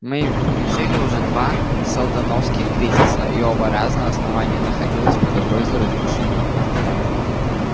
мы пережили уже два сэлдоновских кризиса и оба раза основание находилось под угрозой разрушения